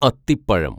അത്തിപ്പഴം